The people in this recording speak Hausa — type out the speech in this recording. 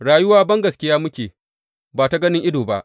Rayuwa bangaskiya muke, ba ta ganin ido ba.